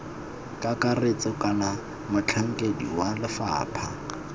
kakaretso kana motlhankedi wa lefapha